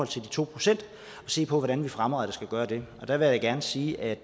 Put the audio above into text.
to procent og se på hvordan vi fremadrettet skal gøre det der vil jeg gerne sige at